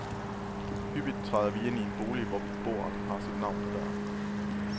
Hyppigt træder vi ind i en bolig, hvor beboeren har sit navn på døren.